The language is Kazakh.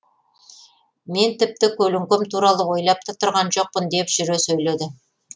мен тіпті көлеңкем туралы ойлап та тұрған жоқпын деп жүре сөйледі